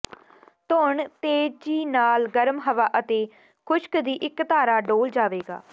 ਧੋਣ ਤੇਜ਼ੀ ਨਾਲ ਗਰਮ ਹਵਾ ਅਤੇ ਖੁਸ਼ਕ ਦੀ ਇੱਕ ਧਾਰਾ ਡੋਲ੍ਹ ਜਾਵੇਗਾ